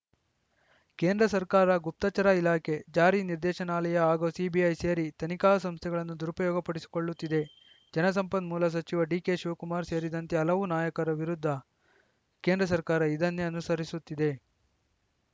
ಕೇಂದ್ರ ಸರ್ಕಾರ ಗುಪ್ತಚರ ಇಲಾಖೆ ಜಾರಿ ನಿರ್ದೇಶನಾಲಯ ಹಾಗೂ ಸಿಬಿಐ ಸೇರಿ ತನಿಖಾ ಸಂಸ್ಥೆಗಳನ್ನು ದುರುಪಯೋಗ ಪಡಿಸಿಕೊಳ್ಳುತ್ತಿದೆ ಜಲಸಂಪನ್ಮೂಲ ಸಚಿವ ಡಿಕೆಶಿವಕುಮಾರ್‌ ಸೇರಿದಂತೆ ಹಲವು ನಾಯಕರ ವಿರುದ್ಧ ಕೇಂದ್ರ ಸರ್ಕಾರ ಇದನ್ನೇ ಅನುಸರಿಸುತ್ತಿದೆ